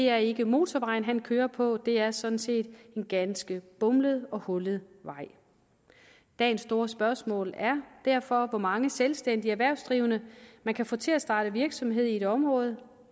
er ikke motorvejen han kører på det er sådan set en ganske bumlet og hullet vej dagens store spørgsmål er derfor hvor mange selvstændige erhvervsdrivende man kan få til at starte virksomhed i et område